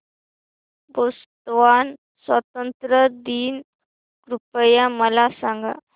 Botswana स्वातंत्र्य दिन कृपया मला सांगा